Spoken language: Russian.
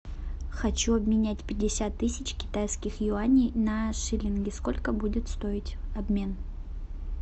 хочу обменять пятьдесят тысяч китайских юаней на шиллинги сколько будет стоить обмен